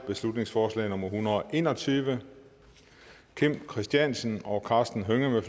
beslutningsforslag nummer hundrede og en og tyve kim christiansen og karsten hønge